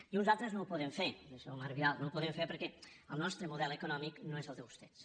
i en unes altres no ho podem fer senyor marc vidal no ho podem fer perquè el nostre model econòmic no és el de vostès